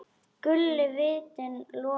Guli vitinn logar.